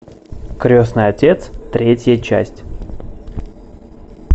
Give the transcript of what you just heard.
крестный отец третья часть